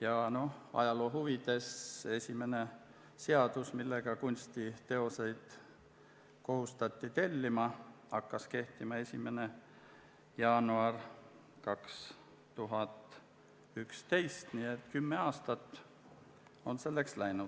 Ja ajaloo huvides: esimene seadus, millega kunstiteoseid kohustati tellima, hakkas kehtima 1. jaanuaril 2011, nii et selleks on kulunud kümme